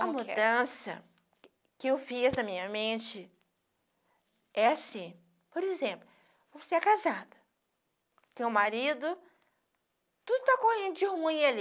como que é? A mudança que eu fiz na minha mente é assim, por exemplo, você é casada, tem um marido, tudo tá correndo de ruim ali.